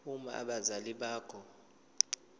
uma abazali bakho